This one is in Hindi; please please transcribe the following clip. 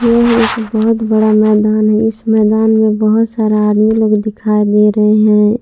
यह एक बहुत बड़ा मैदान है इस मैदान में बहुत सारा आदमी लोग दिखाई दे रहे हैं।